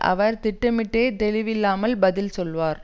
அவர் திட்டமிட்டே தெளிவில்லாமல் பதில் சொன்னார்